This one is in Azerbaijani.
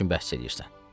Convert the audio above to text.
Nə üçün bəhs eləyirsən?